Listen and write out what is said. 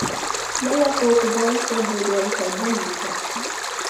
молоко кубанская буренка один литр